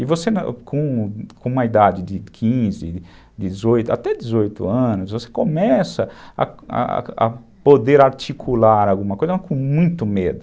E você, com uma idade de quinze, dezoito, até dezoito anos, você começa a a poder articular alguma coisa, mas com muito medo.